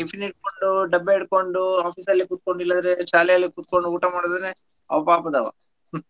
Tiffin ಹಿಡ್ಕೊಂಡು ಡಬ್ಬೆ ಹಿಡ್ಕೊಂಡು office ಅಲ್ಲಿ ಕುತ್ಕೊಂಡ್ ಇಲ್ಲಾದ್ರೆ ಶಾಲೆಯಲ್ಲೆ ಕುತ್ಕೊಂಡು ಊಟ ಮಾಡಿದ್ರೆನೆ ಅವ ಪಾಪದವ.